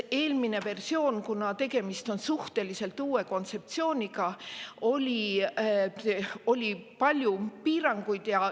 Eelmises versioonis, kuna tegemist on suhteliselt uue kontseptsiooniga, oli palju piiranguid.